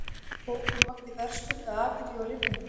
Bókin vakti verðskuldaða athygli og hrifningu.